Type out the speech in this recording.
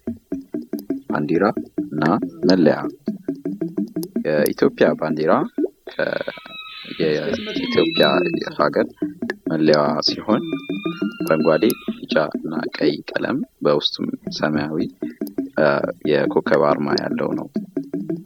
ባንድራና መለያ የኢትዮጵያ ባንዲራ ኢትዮጵያ የሃገር መለያ ሲሆን አረንጓደ፣ ቢጫና ቀይ ቀለም በውስጡም ሰማያዊ የኮከብ አርማ ያለው ነው።